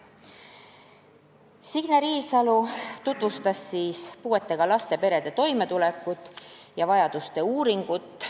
Signe Riisalo tutvustas puuetega laste perede toimetulekut ja vajaduste uuringut.